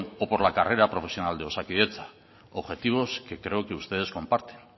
o por la carrera profesional de osakidetza objetivos que creo que ustedes comparten